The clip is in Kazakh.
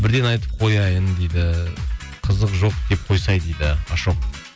бірден айтып қояйын дейді қызық жоқ деп қойсай дейді ашок